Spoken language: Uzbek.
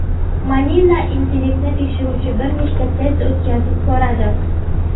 Manila intellektni tekshiruvchi bir nechta test o‘tkazib ko‘radi.